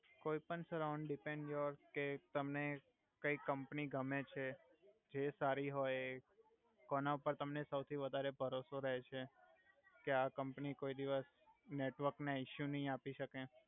કોઇ પણ sir around depend your કે તમને કઈ કમ્પની ગમે છે જે સારી હોય એ કોના પર તમને સવથી વધારે ભરોસો રહે છે કે આ કમ્પની કોઇ દિવસ નેટવર્ક ના ઇસ્યુ નઈ આપી સકે